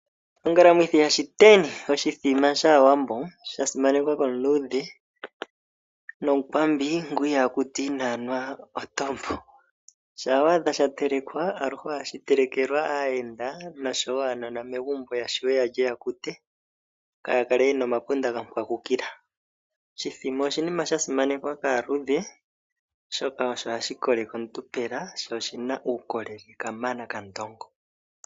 Ongalamwithi yaShiteni oshimbombo shAawambo sha simaneka kaluudhe nomukwambi ngu ihaa kuta inaa nwa ontombo . Shampa wa adha sha telekwa ,olundji ohashi tekelwa aayenda oshowo uunona megumbo opo wu kute opo kaa wu kale wu na omapunda ga kwagukila. Oshimbombo osha simaneka kaluudhe oshoka ohashi kokeke omuntu pela sho oshin a uukolele kamana kandongo.